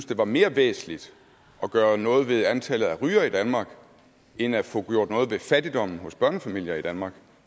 det var mere væsentligt at gøre noget ved antallet af rygere i danmark end at få gjort noget ved fattigdommen hos børnefamilier i danmark